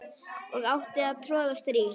og átti að troða strý